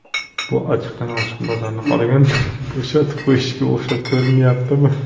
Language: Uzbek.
Bu ochiqdan ochiq bozorni qolganlarga bo‘shatib qo‘yishga o‘xshab ko‘rinmayaptimi?